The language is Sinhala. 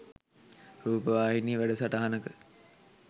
රූපවාහිනී වැඩසටහනක